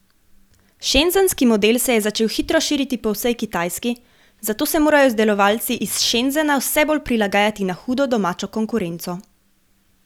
Šenzenski model se je začel hitro širiti po vsej Kitajski, zato se morajo izdelovalci iz Šenzena vse bolj prilagajati na hudo domačo konkurenco.